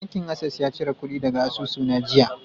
Bankin Access ya cire kudi daga asusuna jiya.